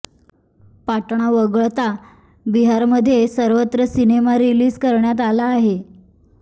पाटणा वगळता बिहारमध्ये सर्वत्र सिनेमा रिलीज करण्यात आला आहे